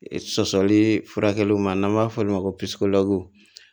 Sɔsɔli furakɛli furakɛli ma n'an b'a f'olu ma ko